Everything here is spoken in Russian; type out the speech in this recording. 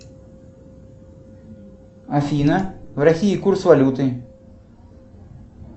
афина в россии курс валюты